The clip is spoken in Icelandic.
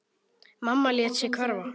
Mamma lét sig hverfa.